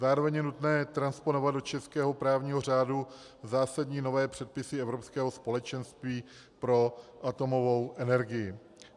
Zároveň je nutné transponovat do českého právního řádu zásadní nové předpisy Evropského společenství pro atomovou energii.